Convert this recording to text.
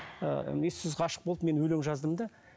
ыыы ессіз ғашық болып мен өлең жаздым да